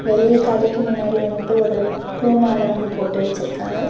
வெளிய கடைக்கு முன்னாடி வந்துட்டு ஒரு பூ மால வந்து போட்டு வெச்சுருக்காங்க.